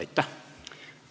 Aitäh!